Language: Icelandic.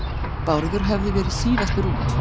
Bárður hafði verið síðastur út.